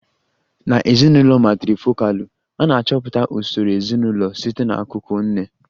Na ezinụlọ matrifokalụ, a na-achọpụta usoro ezinụlọ site n'akụkụ nne